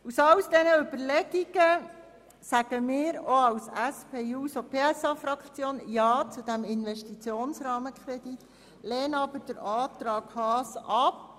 Aus all diesen Überlegungen sagen auch wir als SP-JUSOPSA-Fraktion ja zu diesem Investitionsrahmenkredit, lehnen aber den Antrag Haas ab.